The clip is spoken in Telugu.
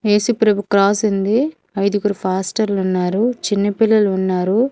యేసుప్రభు క్రాస్ ఉంది ఐదుగురు పాస్టర్లున్నారు చిన్నపిల్లలు ఉన్నారు.